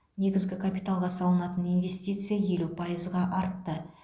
негізгі капиталға салынатын инвестиция елу пайызға артты